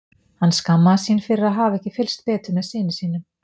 Hann skammaðist sín fyrir að hafa ekki fylgst betur með syni sínum.